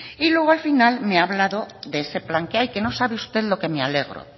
y luego al final me ha hablado de este plan que hay que no sabe usted lo que me alegro